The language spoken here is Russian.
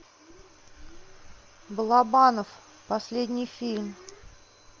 балабанов последний фильм